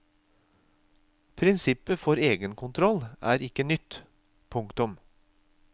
Prinsippet for egenkontroll er ikke nytt. punktum